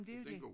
Blev den god